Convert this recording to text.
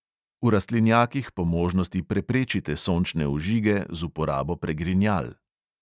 V rastlinjakih po možnosti preprečite sončne ožige z uporabo pregrinjal.